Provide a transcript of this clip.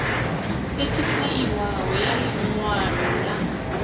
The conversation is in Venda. sethifaiwaho ya ḽi ṅwalo ḽa